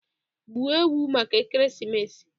Gbuo ewu maka ekeresimesi